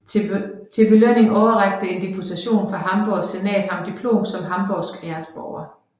Til belønning overrakte en deputation fra Hamborgs Senat ham diplom som hamborgsk æresborger